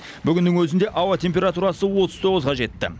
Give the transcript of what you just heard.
бүгіннің өзінде ауа температурасы отыз тоғызға жетті